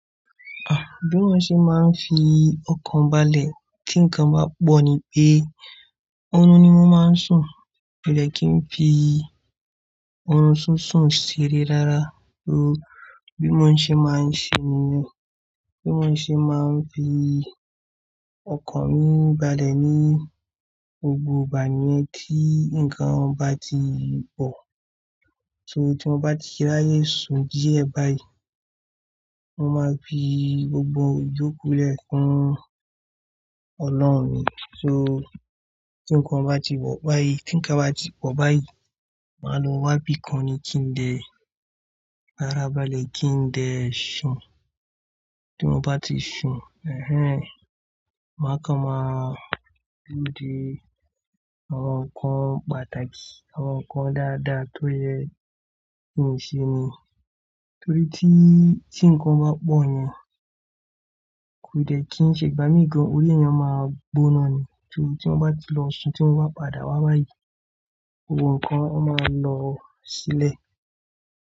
Bí mo ṣe máa ń fi ọkàn balẹ̀ tí nǹkan bá pọ̀ ni pé, ọ̀run ni mo máa ń sùn. Kò dẹ́ kí n fi ọ̀run ṣunsun ṣe ere rárá. So bí mo ṣe máa ń ṣe nìyẹn. Bí mo ṣe máa ń fi ọkàn mi balẹ̀ ní gbogbo ìgbà nìyẹn tí nǹkan bá ti pọ̀. So tí mo bá ti rí raye sùn díẹ̀ báyìí, mo máa fi gbogbo ìyoku le fún Ọlọ́run ni. So tí nǹkan bá ti pọ̀ báyìí, tí nǹkan bá ti pọ̀ báyìí, màá lo wá bí ikan ni kí n dẹ́, fárá balẹ̀ kí n dẹ́ ṣùn. Tí mo bá ti sun, ẹ́hẹ́n, máa kan máa lòde àwọn nǹkan pàtàkì, àwọn nǹkan dáadáa tó yẹ ní ìṣe ni. Torí tí, tí nǹkan bá pọ̀ yẹn, kò dẹ́ kí ń ṣe ìgbámí gan. Orí ẹyan a máa gbóná ni. So tí mo bá ti lọ ṣùn, tí mo bá padà wá báyìí, gbogbo nǹkan a máa lọ sílẹ̀